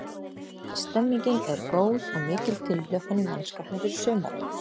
Stemmningin er góð og mikil tilhlökkun í mannskapnum fyrir sumarið.